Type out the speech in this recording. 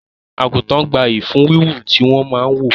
Àgùntàn gbayyi fún Wíwò tí wọn máa ń wò